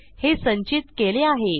हे संचित केले आहे